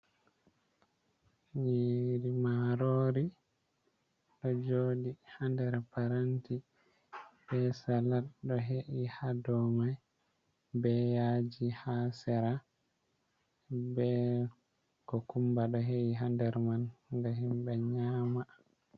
Nyiri marori ɗo jodi ha nder parenti be salat ɗo he’i ha dow mai be yaji ha sera, be kokumba do he’i ha nder man nga himɓe nyama.